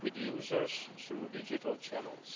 with users through digital channels.